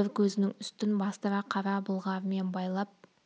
бір көзінің үстін бастыра қара былғарымен байлап